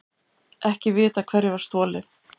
Ekki vitað hverju var stolið